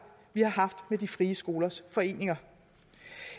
med de frie skolers foreninger